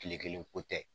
Kile kelen ko tɛ